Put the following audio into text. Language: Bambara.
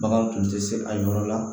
Bagan tun tɛ se a yɔrɔ la